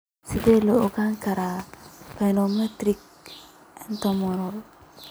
Sidee lagu ogaan karaa pneumothorax catamenial?